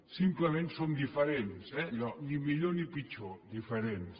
simplement som diferents eh allò ni millor ni pitjor diferents